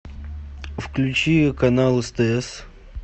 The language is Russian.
включи канал стс